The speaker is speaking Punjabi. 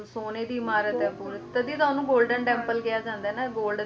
ਢੱਕਦੇ ਆ ਉੱਪਰ ਹਨਾ ਬਿਲਕੁਲ ਸੋਨੇ ਦੀ ਇਮਾਰਤ ਆ ਪੂਰੀ ਤਦੀ ਤਾਂ ਓਹਨੂੰ golden temple ਕਿਹਾ ਜਾਂਦਾ ਐ ਨਾ golden